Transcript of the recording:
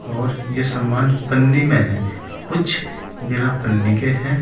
और यह सामान पन्नी में हैं कुछ बिना पन्नी के हैं।